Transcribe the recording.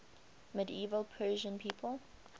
medieval persian people